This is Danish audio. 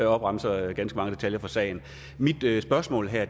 opremser ganske mange detaljer fra sagen mit spørgsmål her